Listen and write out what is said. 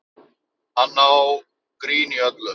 Hann sá grín í öllu